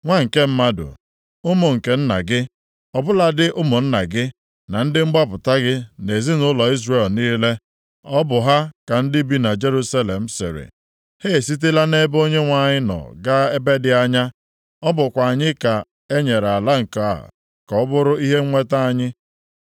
“Nwa nke mmadụ, ụmụ nke nna gị, ọ bụladị ụmụnna gị, na ndị mgbapụta + 11:15 Ndị a dọkpụụrụ gaa mba ọzọ gị na ezinaụlọ Izrel niile, ọ bụ ha ka ndị bi na Jerusalem sịrị, ‘Ha esitela nʼebe Onyenwe anyị nọ gaa ebe dị anya, ọ bụkwa anyị ka enyere ala nke a ka ọ bụrụ ihe nnweta anyị,’